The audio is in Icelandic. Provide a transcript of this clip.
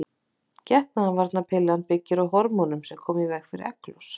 Getnaðarvarnarpillan byggir á hormónum sem koma í veg fyrir egglos.